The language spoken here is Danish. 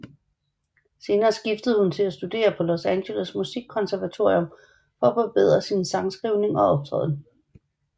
Senere skiftede hun til at studere på Los Angeles Musikkonservatorium for at forbedre sin sangskrivning og optræden